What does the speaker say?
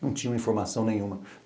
Não tinha informação nenhuma.